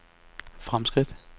fremskridt